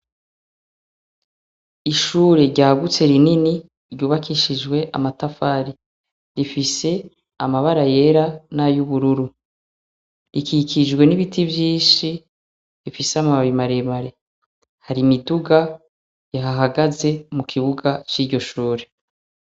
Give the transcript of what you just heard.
Ishure ryagutse rinini ryubakishijwe amatafari, rifise amabara yera n'ayubururu, rikikijwe n'ibiti vyinshi bifise amababi maremare, hari imiduga ihahagaze mu kibuga ciryo shure.